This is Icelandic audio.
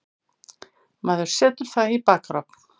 Maður setur það í bakarofn.